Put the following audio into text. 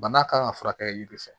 Bana kan ka furakɛ yiri fɛ